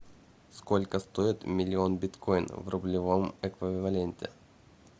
сколько стоит миллион биткоинов в рублевом эквиваленте